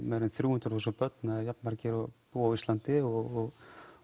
um þrjú hundruð þúsund börn eða næstum jafn margir og búa á Íslandi og